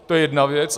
To je jedna věc.